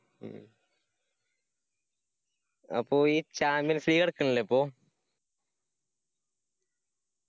അപ്പൊ ഈ champions league നടക്കണില്ലേ ഇപ്പോ?